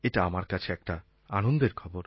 এটা আমার কাছে একটা আনন্দের খবর